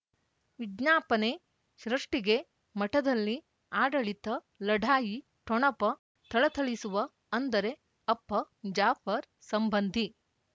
ವಿಜ್ಞಾಪನೆ ಸೃಷ್ಟಿಗೆ ಮಠದಲ್ಲಿ ಆಡಳಿತ ಲಢಾಯಿ ಠೊಣಪ ಥಳಥಳಿಸುವ ಅಂದರೆ ಅಪ್ಪ ಜಾಫರ್ ಸಂಬಂಧಿ